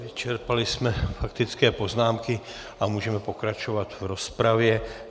Vyčerpali jsme faktické poznámky a můžeme pokračovat v rozpravě.